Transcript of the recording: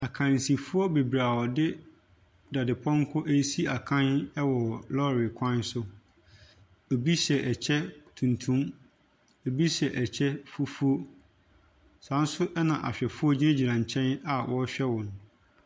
Akansifo beberee a wɔde dadepɔnkɔ esi akan ɛwɔ lɔre kwan so. Ebi hyɛ ɛkyɛ tuntum. Ebi hyɛ ɛkyɛ fufuw. Saa nso ɛna ahwɛfoɔ gyina gyina nkyɛn a wɔhwɛ wɔn .